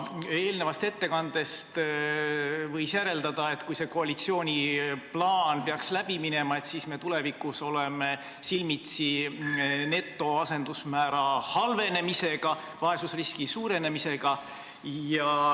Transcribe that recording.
Eelnevast ettekandest võis järeldada, et kui koalitsiooni plaan peaks läbi minema, siis oleme tulevikus silmitsi netoasendusmäära halvenemisega, vaesusriski suurenemisega.